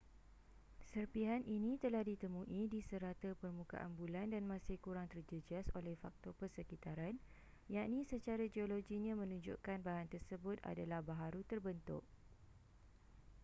serpihan ini telah ditemui di serata permukaan bulan dan masih kurang terjejas oleh faktor persekitaran yakni secara geologinya menunjukkan bahan tersebut adalah baharu terbentuk